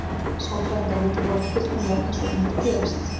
Sálfræðingar vita þó ekki fullkomlega hvers vegna þetta gerist.